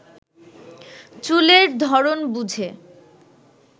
চুলের ধরণ বুঝে